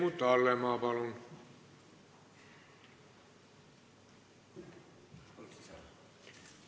Helmut Hallemaa, palun!